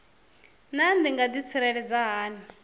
naa ndi nga ḓitsireledza hani